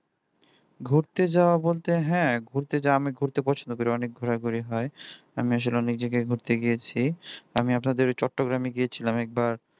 ঘুরতে যাওয়া বলতে হ্যাঁ ঘুরতে যাওয়া আমি ঘুরতে পছন্দ করি অনেক ঘোরাঘুরি হয় আমি আসলে অনেক জায়গায় ঘুরতে গিয়েছি আমি আপনাদের চট্টগ্রামে গিয়েছিলাম একবার